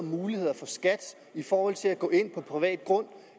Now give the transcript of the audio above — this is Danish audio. muligheder for skat i forhold til at gå ind på privat grund